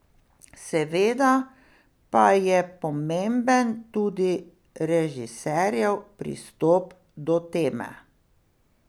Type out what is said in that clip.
Seveda pa je pomemben tudi režiserjev pristop do teme.